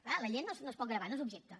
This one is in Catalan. clar la llet no es pot gravar no és objecte